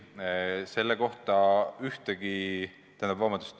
Vabandust!